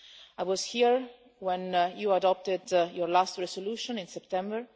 I was here when you adopted your last resolution in September.